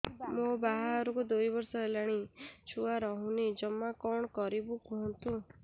ମୋ ବାହାଘରକୁ ଦୁଇ ବର୍ଷ ହେଲାଣି ଛୁଆ ରହୁନି ଜମା କଣ କରିବୁ କୁହନ୍ତୁ